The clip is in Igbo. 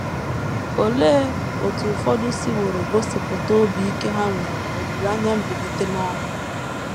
Olee otú ụfọdụ siworo gosipụta obi ike ha nwere n’olileanya mbilite n’ọnwụ?